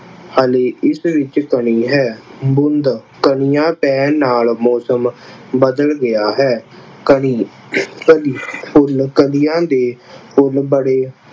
ਹਾਲੇ ਇਸ ਵਿੱਚ ਕਣੀ ਹੈ। ਬੂੰਦ ਕਣੀਆਂ ਪੈਣ ਨਾਲ ਮੌਸਮ ਬਦਲ ਗਿਆ ਹੈ। ਕਣੀ ਕਲੀਆਂ ਦੇ ਫੁੱਲ ਬੜੇ